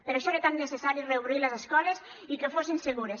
per això era tan necessari reobrir les escoles i que fossin segures